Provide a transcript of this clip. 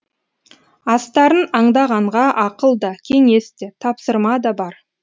астарын аңдағанға ақыл да кеңес те тапсырма да бар